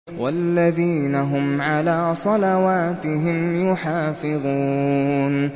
وَالَّذِينَ هُمْ عَلَىٰ صَلَوَاتِهِمْ يُحَافِظُونَ